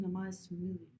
Hun er meget smidig